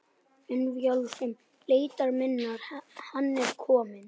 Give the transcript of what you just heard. Hönd Vilhjálms leitar minnar Hann er kominn.